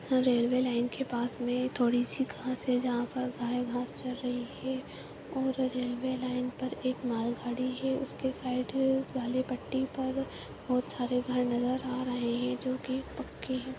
Railway line के पास में थोड़ी सी घास है जहाँ पर गाय घास चर रही है और रेलवे लाइन पर एक मालगाड़ी है उसके साइड वाले पट्टी पर बहोत सारे घर नजर आ रहे हैं जो कि पक्के हैं।